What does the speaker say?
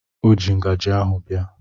O ji ngajị ahụ bịa.